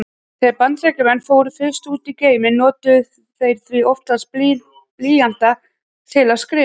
Þegar Bandaríkjamenn fóru fyrst út í geiminn notuðu þeir því oftast blýanta til að skrifa.